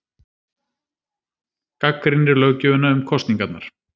Gagnrýnir löggjöfina um kosningarnar